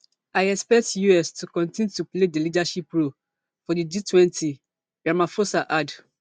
i expect us to continue to play dia leadership role for di gtwenty ramaphosa add